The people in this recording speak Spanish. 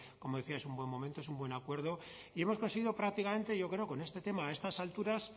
como decía es un buen momento es un buen acuerdo y hemos conseguido prácticamente yo creo con este tema a estas alturas